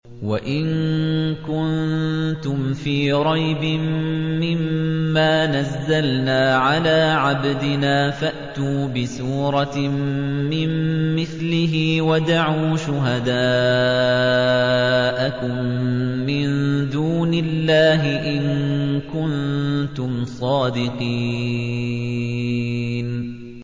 وَإِن كُنتُمْ فِي رَيْبٍ مِّمَّا نَزَّلْنَا عَلَىٰ عَبْدِنَا فَأْتُوا بِسُورَةٍ مِّن مِّثْلِهِ وَادْعُوا شُهَدَاءَكُم مِّن دُونِ اللَّهِ إِن كُنتُمْ صَادِقِينَ